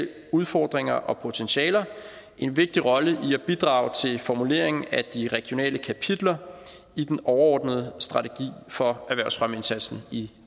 udfordringer og potentialer en vigtig rolle i at bidrage til formuleringen af de regionale kapitler i den overordnede strategi for erhvervsfremmeindsatsen i